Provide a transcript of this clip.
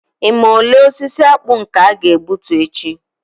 Ị ma ole osisi akpu nke a ga-egbute echi